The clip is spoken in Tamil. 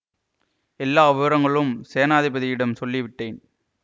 எல்லா விவரங்களும் சேநாதிபதியிடம் சொல்லி விட்டேன்